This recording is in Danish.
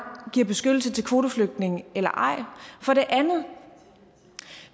giver beskyttelse til kvoteflygtninge eller ej for det andet